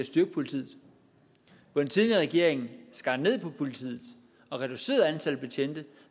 styrke politiet hvor den tidligere regering skar ned på politiet og reducerede antallet af betjente